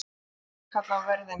Nú geturðu kallað á verðina.